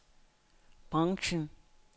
branchen